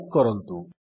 type କରନ୍ତୁ